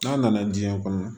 N'a nana diɲɛ kɔnɔ